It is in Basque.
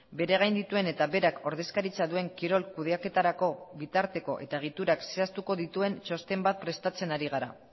bere gaindituen eta berak ordezkaritza duen kirol kudeaketarako bitarteko eta egiturak zehaztuko dituen txosten bat prestatzen ari gara